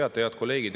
Head kolleegid!